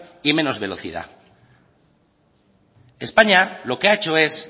y en menos velocidad españa lo que ha hecho es